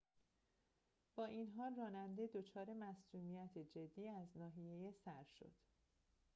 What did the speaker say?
با این حال راننده دچار مصدومیت جدی از ناحیه سر شد